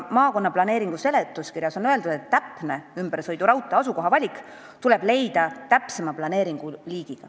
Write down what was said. Maakonna planeeringu seletuskirjas on öeldud, et täpne ümbersõiduraudtee asukoha valik tuleb langetada täpsemas planeeringus.